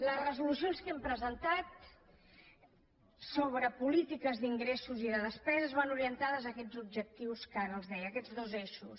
les resolucions que hem presentat sobre polítiques d’ingressos i de despeses van orientades a aquests objectius que ara els deia a aquests dos eixos